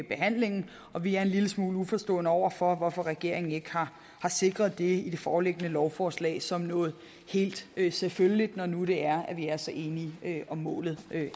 behandlingen og vi er en lille smule uforstående over for hvorfor regeringen ikke har sikret det i det foreliggende lovforslag som noget helt helt selvfølgeligt når nu det er at vi er så enige om målet